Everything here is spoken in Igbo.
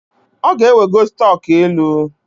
Ọ ga-ewego stọk elu